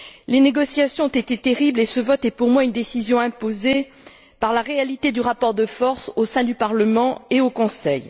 Les négociations ont été terribles et ce vote est pour moi une décision imposée par la réalité du rapport de force au sein du Parlement et du Conseil.